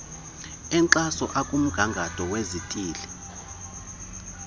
enkxaso akumgangatho wezithili